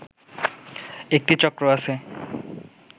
একটি চক্র আছে